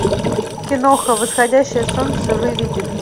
киноха восходящее солнце выведи мне